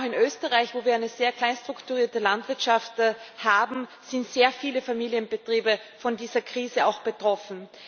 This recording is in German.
Vor allem auch in Österreich, wo wir eine sehr klein strukturierte Landwirtschaft haben, sind sehr viele Familienbetriebe von dieser Krise betroffen.